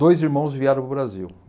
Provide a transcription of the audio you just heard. Dois irmãos vieram para o Brasil.